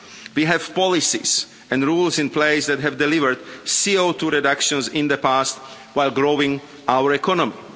We have policies and rules in place that have delivered CO2 reductions in the past while growing our economy.